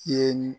Ye